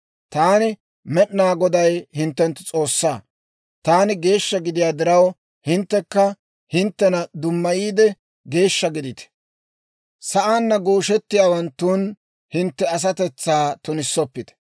Taani, Med'inaa Goday, hintte S'oossaa. Taani geeshsha gidiyaa diraw, hinttekka hinttena dummayiide, geeshsha gidite. Sa'aanna gooshettiyaawanttun hintte asatetsaa tunissoppite.